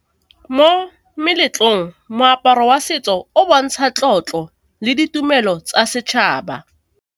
Mo meletlong moaparo wa setso o bontsha tlotlo le ditumelo tsa setšhaba.